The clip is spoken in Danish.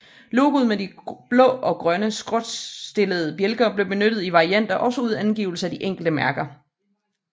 Logoet med de blå og grønne skråtstillede bjælker blev benyttet i varianter også uden angivelse af de enkelte mærker